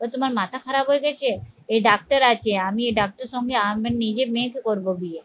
ও তোমার মাথা খারাপ হয়ে গেছে এই ডাক্তার আছে আমি এই ডাক্তার সঙ্গে আমার নিজের মেয়েকে করবো বিয়ে